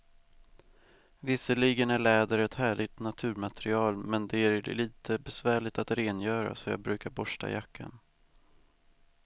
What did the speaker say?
Visserligen är läder ett härligt naturmaterial, men det är lite besvärligt att rengöra, så jag brukar borsta jackan.